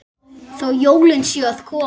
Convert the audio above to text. Þó jólin séu að koma.